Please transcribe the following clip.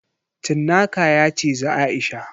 Cinnaka ya cizi Aisha.